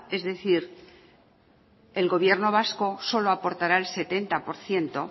es decir el gobierno vasco solo aportará el setenta por ciento